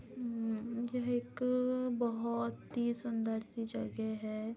उम्म यहाँ एक बहुत ही सुन्दर सी जगह है।